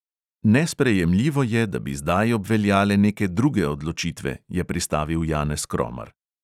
Nesprejemljivo je, da bi zdaj obveljale neke druge odločitve, je pristavil janez kromar.